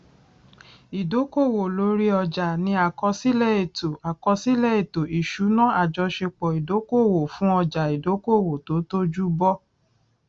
ìdókòwò lórí ọjà ní àkọsílẹ ètò àkọsílẹ ètò ìṣúná àjọṣepọ ìdókòwò fún ọjà ìdókòwò tó tójú bọ